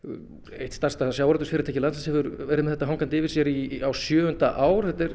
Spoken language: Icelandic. eitt stærsta sjávarútvegsfyrirtæki landsins hefur verið með þetta hangandi yfir sér í á sjöunda ár þetta er